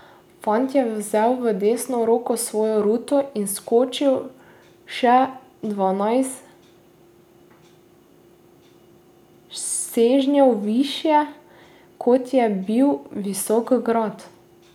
Fant je vzel v desno roko svojo ruto in skočil še dvanajst sežnjev višje, kot je bil visok grad.